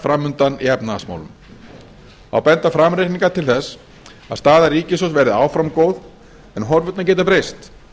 framundan í efnahagsmálum þá benda framreikningar til þess að staða ríkissjóðs verði áfram góð en horfurnar geta breyst